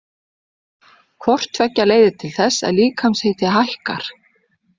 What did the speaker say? Hvort tveggja leiðir til þess að líkamshiti hækkar.